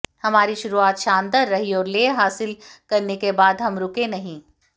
हमारी शुरुआत शानदार रही और लय हासिल करने के बाद हम रूके नहीं